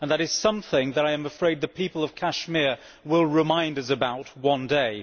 That is something that I am afraid the people of Kashmir will remind us about one day.